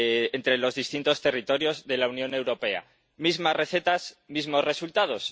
entre los distintos territorios de la Unión Europea. Mismas recetas, mismos resultados.